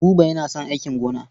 Buba yana son aikin gona.